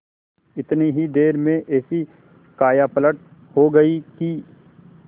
इतनी ही देर में ऐसी कायापलट हो गयी कि